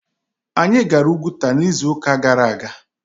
Anyị gara Oguta n'izu ụka gara aga.